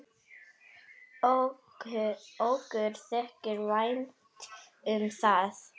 Okkur þykir vænt um það.